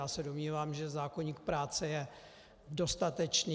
Já se domnívám, že zákoník práce je dostatečný.